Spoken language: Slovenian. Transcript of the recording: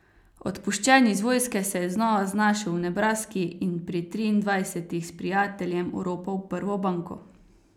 Odpuščen iz vojske se je znova znašel v Nebraski in pri triindvajsetih s prijateljem oropal prvo banko.